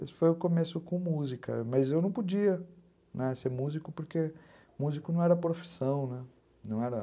Esse foi o começo com música, mas eu não podia, né, ser músico, porque músico não era profissão, né? não era